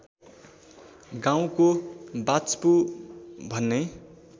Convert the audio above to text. गाउँको वाच्पु भन्ने